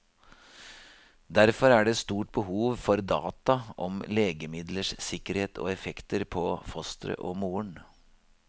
Derfor er det et stort behov for data om legemidlers sikkerhet og effekter på fosteret og moren.